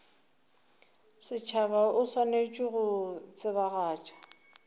setšhaba o swanetše go tsebagatša